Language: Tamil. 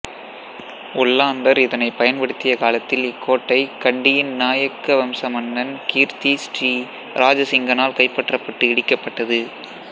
ஒல்லாந்தர் இதனை பயன்படுத்திய காலத்தில் இக்கோட்டை கண்டியின் நாயக்க வம்ச மன்னன் கீர்த்தி ஸ்ரீ இராஜசிங்கனால் கைப்பற்றப்பட்டு இடிக்கப்பட்ட்டது